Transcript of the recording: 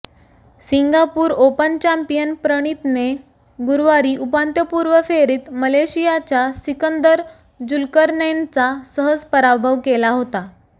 Singapore open champion प्रणितने गुरुवारी उपउपांत्यपूर्व फेरीत मलेशियाच्या सिकंदर जुल्करनैनचा सहज पराभव केला होता